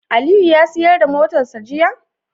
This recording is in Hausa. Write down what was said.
Aliyu ya siyar da motarsa ​​jiya?